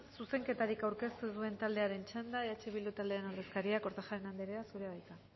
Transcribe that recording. zuzenketarik aurkeztu ez duen taldearen txanda eh bildu taldearen ordezkaria kortajarena anderea zurea da hitza